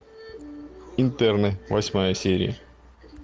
интерны восьмая серия